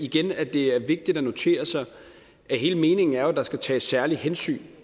igen at det er vigtigt at notere sig at hele meningen jo er at der skal tages særlige hensyn